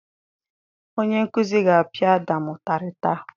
Onye nkuzi ga-apia Ádàm ụtarị taa.